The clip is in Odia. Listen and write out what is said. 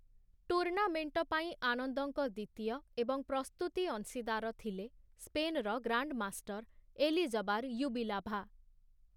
ଟୁର୍ଣ୍ଣାମେଣ୍ଟ ପାଇଁ ଆନନ୍ଦଙ୍କ ଦ୍ୱିତୀୟ ଏବଂ ପ୍ରସ୍ତୁତି ଅଂଶୀଦାର ଥିଲେ, ସ୍ପେନର ଗ୍ରାଣ୍ଡମାଷ୍ଟର ଏଲିଜବାର ୟୁବିଲାଭା ।